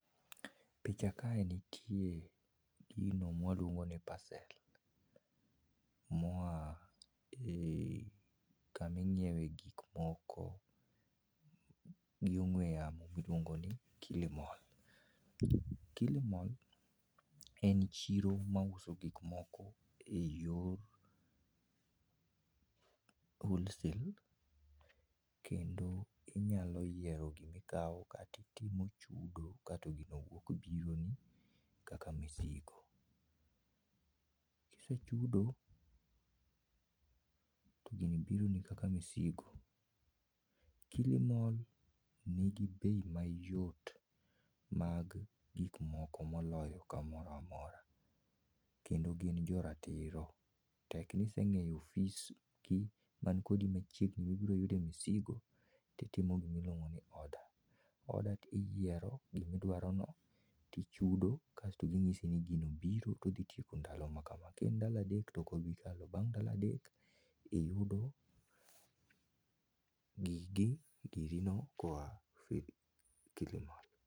Picha kae nitie gino mawaluongo ni parcel moa kama ing'iewe gik moko gi ong'we yamo miluongo ni Kilimol. Kilimol en chiro mauso gik moko eyor wholesale kendo inyalo yiero gimikawo kato itimo chudo kato gino wuok bironi kaka misigo . Kise chudo togini bironi kaka misigo. Kilimol nigi bei mayot mag gik moko moloyo kamoro amora kendo gin jo ratiro, tek ni iseng'eyo ofisgi man kodi machiegni mibiro yude misigo titimo gima iluongo ni order. order iyiero gima idwarono tichudo kasto ginyisi ni gino biro to odhi tieko ndalo makama, kaen ndalo adek to ok obi kalo, bang' ndalo adek tiyudo gikgi, girino koa Kilimol.